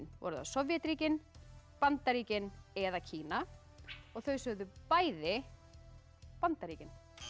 voru það Sovétríkin Bandaríkin eða Kína þau sögðu bæði Bandaríkin